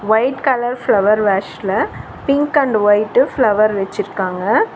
White colour flower வேஷ்ல pink and white flower வெச்சிருக்காங்க.